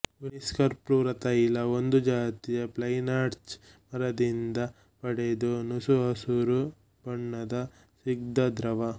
ವೆನಿಸ್ಕರ್ಪುರತೈಲ ಒಂದು ಜಾತಿಯ ಪೈನ್ಲಾರ್ಚ್ ಮರದಿಂದ ಪಡೆದ ನಸುಹಸುರು ಬಣ್ಣದ ಸ್ನಿಗ್ಧ ದ್ರವ